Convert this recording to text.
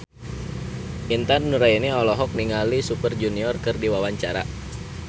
Intan Nuraini olohok ningali Super Junior keur diwawancara